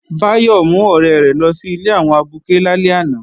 Báyọ̀ mú ọ̀rẹ́ rẹ̀ lọ sí ilé àwọn abuké lálẹ́ àná